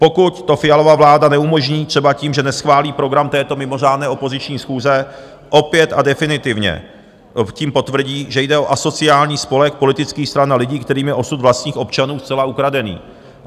Pokud to Fialova vláda neumožní třeba tím, že neschválí program této mimořádné opoziční schůze, opět a definitivně tím potvrdí, že jde o asociální spolek politických stran a lidí, kterým je osud vlastních občanů zcela ukradený.